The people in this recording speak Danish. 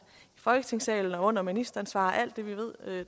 i folketingssalen og under ministeransvar og alt det vi ved